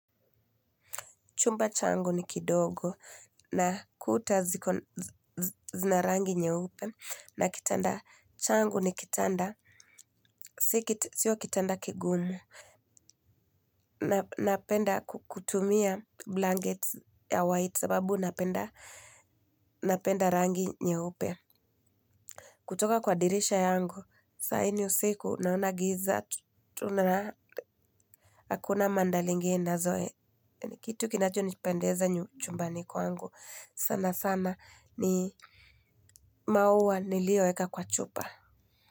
Chumba changu ni kidogo na kuta zina rangi nyeupe na kitanda changu ni kitanda. Sio kitanda kigumu. Napenda kutumia blankets ya white sababu napenda rangi nyeupe. Kutoka kwa dirisha yangu, saa hii ni usiku naona giza, tunaraa. Hakuna mandalingi inazoe. Kitu kinacho nipendeza nyu chumbani kwangu. Sana sana ni maua nilioweka kwa chupa.